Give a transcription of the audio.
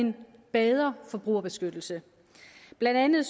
en bedre forbrugerbeskyttelse blandt andet